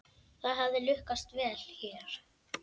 Það hefði lukkast vel hér.